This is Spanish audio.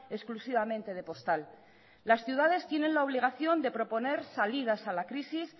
exclusivamente de postal las ciudades tienen la obligación de proponer salidas a la crisis